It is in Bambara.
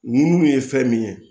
Nuun ye fɛn min ye